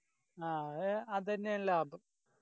ആ അത് അതെന്നയാ ലാഭം